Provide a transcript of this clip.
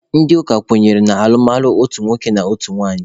Ndị ụka kwenyere na alụmalụ otu nwoke na otu nwaanyị.